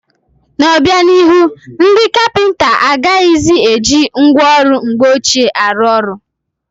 N'obianihu, ndị kapịnta agaghịzi eji ngwa ọrụ mgbe ọchịe arụ ọrụ.